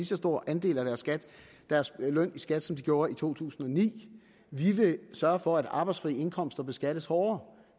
så stor andel af deres løn i skat som de gjorde i to tusind og ni vi vil sørge for at arbejdsfri indkomster beskattes hårdere